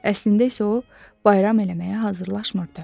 Əslində isə o, bayram eləməyə hazırlaşmırdı.